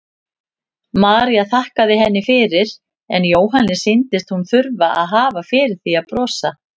María þakkaði henni fyrir en Jóhanni sýndist hún þurfa að hafa fyrir því að brosa.